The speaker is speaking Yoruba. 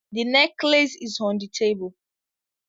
The necklace is on the table